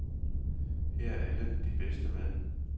Her er alle de bedste med.